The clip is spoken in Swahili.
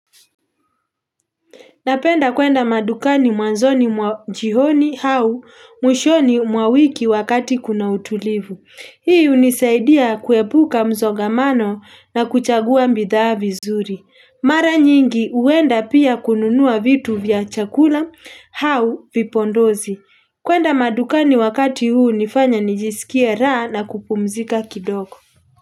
Napenda kwenda madukani mwanzoni mwa jioni au mwishoni mwa wiki wakati kuna utulivu. Hii hunisaidia kuepuka msongamano na kuchagua bidhaa vizuri. Mara nyingi huenda pia kununua vitu vya chakula au vipodozi. Kwenda madukani wakati huu hunifanya nijisikie raha na kupumzika kidogo.